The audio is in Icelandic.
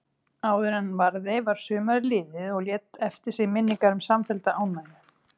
Áðuren varði var sumarið liðið og lét eftir sig minningar um samfellda ánægju.